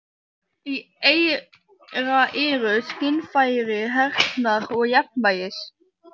Í eyra eru skynfæri heyrnar og jafnvægis.